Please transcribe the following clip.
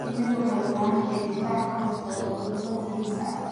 Shinnidu waxay u baahan tahay difaac ka hortagga cudurrada halista ah.